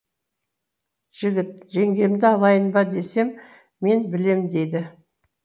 жігіт жеңгемді алайын ба десем мен білем деді